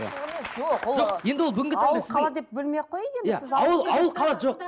жоқ ол енді ол бүгінгі ауыл қала деп бөлмей ақ қояйық енді иә ауыл ауыл қала жоқ